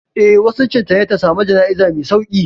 Eh, wasicin ta ne ta samu jana'iza mai sauƙi.